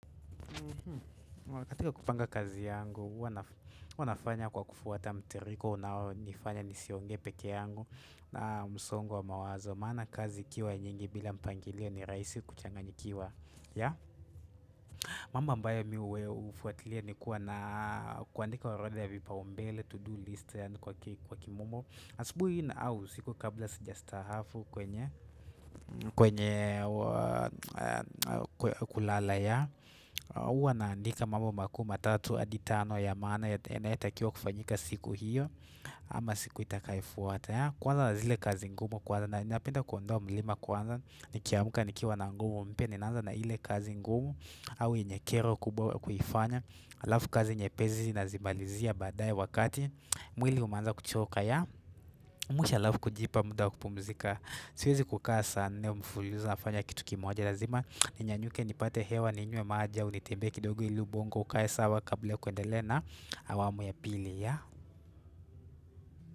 Katika kupanga kazi yangu huwa nafanya kwa kufuata mtiririko unaonifanya nisiongee peke yangu na msongo wa mawazo maana kazi ikiwa nyingi bila mpangilio ni rahisi kuchanganyikiwa mambo ambayo mi hufuatilia ni kuwa na kuandika orodha ya vipaumbele to do list kwa kimombo asubuhi au usiku kabla sijastaafu kwenye kulala huwa naandika mambo makuu matatu hadi tano ya maana yanayotakiwa kufanyika siku hiyo ama siku itakayofuata kuanza na zile kazi ngumu kwanza na ninapenda kuondoa mlima kwanza nikiamka nikiwa na nguvu mpya ninaanza na ile kazi ngumu au yenye kero kubwa kuifanya alafu kazi nyepesi nazimalizia baadae wakati mwili umeanza kuchoka mwisho alafu kujipa muda wa kupumzika siwezi kukaa saa nne mfululizo nafanya kitu kimoja lazima ninyanyuke nipate hewa ninywe maji au nitembee kidogo ili ubongo ukae sawa kabla ya kuendelea na awamu ya pili.